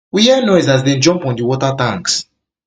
we hear noise as dem jump on di water tanks